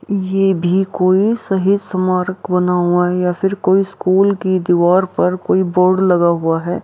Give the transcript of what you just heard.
ये भी कोई शहीद स्मारक बना हुआ है या फिर कोई स्कूल की दीवार पर कोई बोर्ड लगा हुआ है।